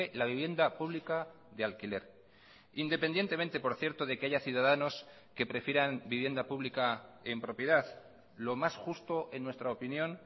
la vivienda pública de alquiler independientemente por cierto de que haya ciudadanos que prefieran vivienda pública en propiedad lo más justo en nuestra opinión